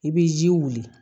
I bɛ ji wuli